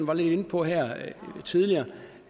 var lidt inde på her tidligere